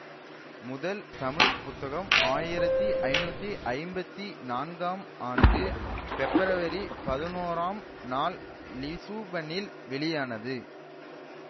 முதல் தமிழ் புத்தகம் ஆயிரத்தி ஐநூத்தி ஐம்பத்தி நான்காம் ஆண்டு பெப்ரவரி பதினோராம் ஆம் நாள் லிசுபனில் வெளியானது